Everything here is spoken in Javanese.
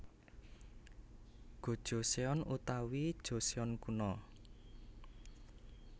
Gojoseon utawi Joseon Kuno